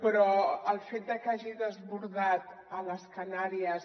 però el fet de que hagi desbordat a les canàries